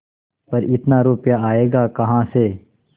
पर इतना रुपया आयेगा कहाँ से